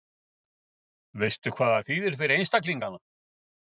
Lillý Valgerður: Veistu hvað það þýðir fyrir einstaklingana?